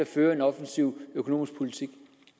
føre en offensiv økonomisk politik